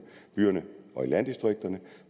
og i landdistrikterne